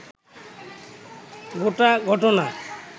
গোটা ঘটনা